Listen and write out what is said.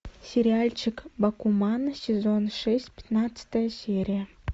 сериальчик бакуман сезон шесть пятнадцатая серия